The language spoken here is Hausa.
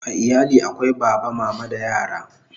A iyali akwai Baba, Mama da yara